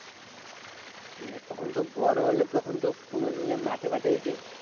হ্যাঁ তখন তো বড় হলে তখন তো কোনো মাঠে ফাটে যদি